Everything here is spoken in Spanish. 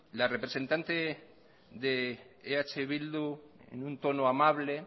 la representante de eh bildu en un tono amable